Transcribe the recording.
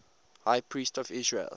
high priests of israel